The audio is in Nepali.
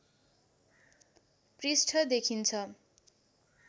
पृष्ठ देखिन्छ